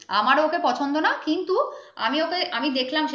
আমারও ওকে পছন্দ না কিন্ত আমি ওকে আমি দেখলাম।